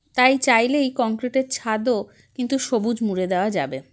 তাই চাইলেই concrete - এর ছাদও কিন্তু সবুজ মুড়ে দেওয়া যাবে